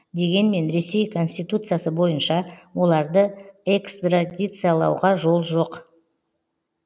дегенмен ресей конституциясы бойынша оларды экстрадициялауға жол жоқ